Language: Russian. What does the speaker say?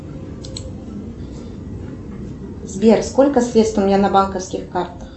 сбер сколько средств у меня на банковских картах